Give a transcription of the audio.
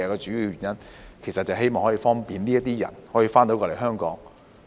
主要原因是希望方便這些人可以回港。